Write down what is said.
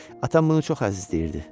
Atam bunu çox əzizləyirdi.